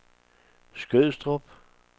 Skødstrup